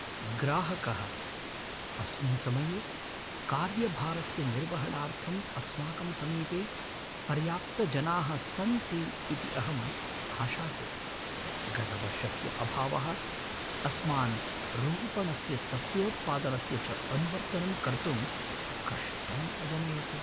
ग्राहकः, अस्मिन् समये कार्यभारस्य निर्वहणार्थं अस्माकं समीपे पर्याप्तजनाः सन्ति इति अहम् आशासे। गतवर्षस्य अभावः अस्मान् रोपणस्य सस्योत्पादनस्य च अनुवर्तनं कर्तुं कष्टम् अजनयत्।